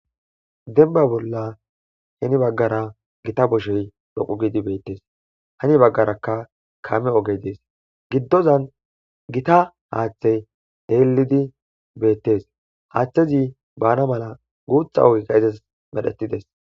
denba bolla heni baggara gita boshey loqu gidi beettes hani baggarakka kaame ogey dees giddozan gita haaththey heelidi beettes haaththezi bana mala guutha ogikka ezas medhetides